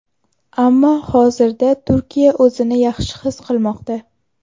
Ammo hozirda Turiya o‘zini yaxshi his qilmoqda.